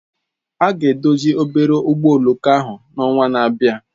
A ga-edozi obere ụgbọ oloko ahụ n'ọnwa na-abịa.